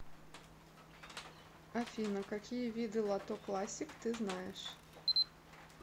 афина какие виды лото классик ты знаешь